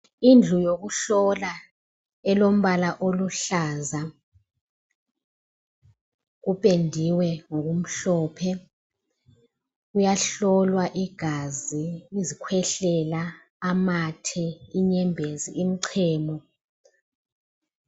Indlu yokuhlola elombala oluhlaza. Kupendiwe ngokumhlophe. Kuyahlolwa igazi, izikhwehlela, ama the, inyembezi, imchemo.